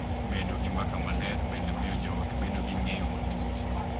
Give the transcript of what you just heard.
Bedo gi mbaka maler bende miyo joot bedo gi ng’eyo matut.